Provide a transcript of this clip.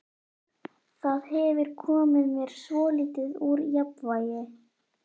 Það hefur komið mér svolítið úr jafnvægi.